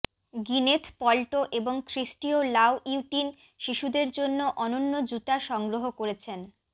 Gwyneth Paltrow এবং Christian Louboutin শিশুদের জন্য অনন্য জুতা সংগ্রহ করেছেন